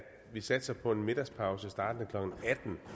vi satser på en middagspause